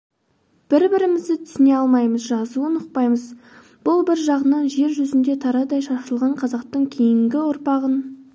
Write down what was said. бір-бірімізді түсіне алмаймыз жазуын ұқпаймыз бұл бір жағынан жер жүзіне тарыдай шашылған қазақтың кейінгі ұрпағын